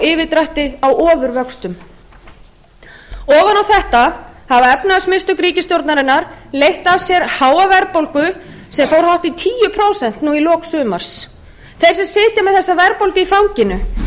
yfirdrætti á ofurvöxtum ofan á þetta hafa efnahagsmistök ríkisstjórnarinnar leitt af sér háa verðbólgu sem fór hátt í tíu prósent í lok sumars þeir sem sitja með verðbólguna í fanginu eru almenningur